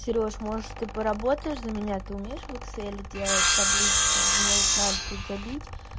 серёж может ты поработаешь за меня ты умеешь в экселе делать таблички мне вот надо тут забить